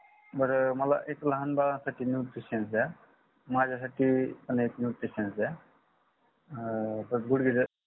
बर मला एक लहान बाळासाठी एक nutrition दया. माझ्यासाठी पण एक nutrition दया पण गुडगे